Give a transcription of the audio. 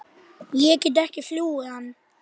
Ég get ekki flúið hann.